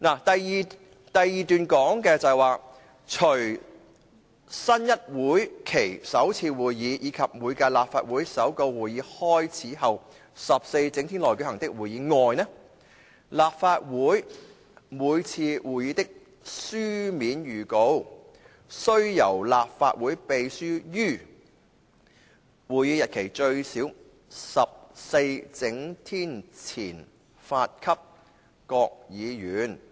第142條是："除新一會期首次會議，以及每屆立法會首個會期開始後14整天內舉行的會議外，立法會每次會議的書面預告，須由立法會秘書於會議日期最少14整天前發給各議員"。